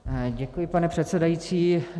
Děkuji, pane předsedající.